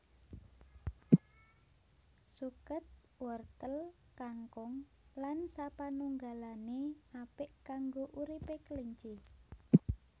Suket wortel kangkung lan sapanunggalané apik kanggo uripé kelinci